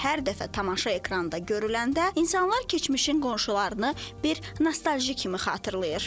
Və hər dəfə tamaşa ekranda görüləndə insanlar keçmişin qonşularını bir nostalji kimi xatırlayır.